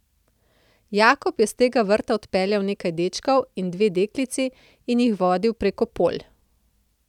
Jakob je s tega vrta odpeljal nekaj dečkov in dve deklici in jih vodil prek polj.